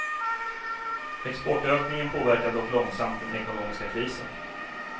Exportökningen påverkar dock långsamt den ekonomiska krisen.